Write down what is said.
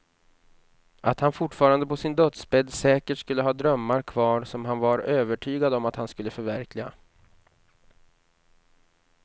Att han fortfarande på sin dödsbädd säkert skulle ha drömmar kvar som han var övertygad om att han skulle förverkliga.